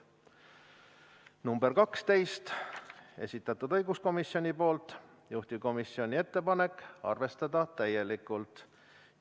Ettepanek nr 12, esitanud õiguskomisjon, juhtivkomisjoni ettepanek: arvestada täielikult.